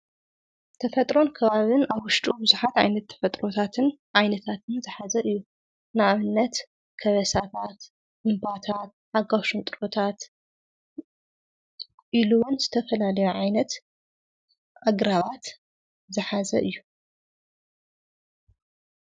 ተፈጥሮን ከባብን ኣብ ወሽጡ ብዙሓት ዓይነት ተፈጥሮታትን ዓይነታትን ዝሓዘ እዩ፡፡ ንኣብነት ከበሳታት ፣እምባታት ሓጓፍ ሽንጥሮታት ኢሉውን ዝተፈላለዮ ዓይነት ኣግራባት ዝሓዘ እዩ፡፡